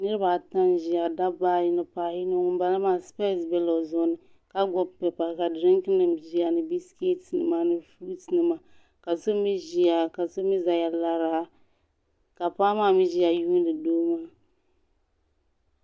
Niriba ata n-ʒiya dabba ayi ni paɣ'yino ŋun bala maa sipesi bela o zuɣu ni ka gbubi pepa ka dirinkinima ʒiya ni bisiketinima furusinima ka so mi ʒiya ka so mi zaya lara ka paɣa maa mi ʒiya yuuni doo maa.